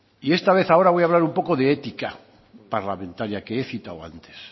y esta vez ahora voy hablar un poco de ética parlamentaria que he citado antes